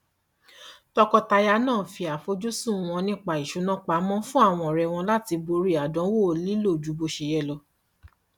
tọkọtaya náà fi àfojúsùn wọn nípa ìṣúná pamọ fún àwọn ọré láti borí àdánwò lílo ju bó ṣe yẹ